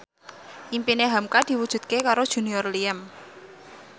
impine hamka diwujudke karo Junior Liem